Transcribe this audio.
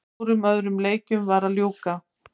Fjórum öðrum leikjum var að ljúka